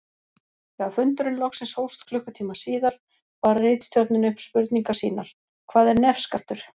Þegar fundurinn loksins hófst klukkutíma síðar bar ritstjórnin upp spurningar sínar: Hvað er nefskattur?